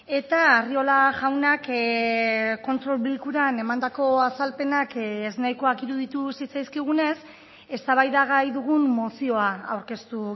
eta arriola jaunak kontrol bilkuran emandako azalpenak ez nahikoak iruditu zitzaizkigunez eztabaidagai dugun mozioa aurkeztu